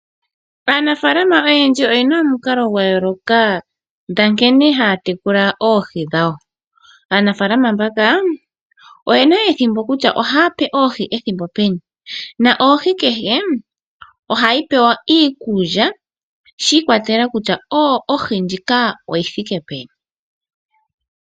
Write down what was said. Aanafalama oyena omikalo dhayooloka dha nkene haya tekula oohi dhawo. Oyena ethimbo ndyoka haya pe oohi dhawo iikulya na ohi kehe ohayi pewa iikulya shiikolela kutya oyi thike peni.